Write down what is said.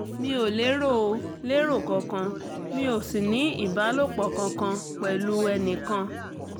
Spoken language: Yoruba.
mi ò lérò ò lérò kankan mi ò sì ní ìbálòpọ̀ kankan pẹ̀lú ẹnì kan